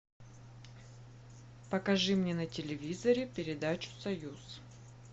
покажи мне на телевизоре передачу союз